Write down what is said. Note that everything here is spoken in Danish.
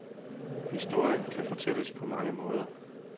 Historien kan fortælles på mange måder.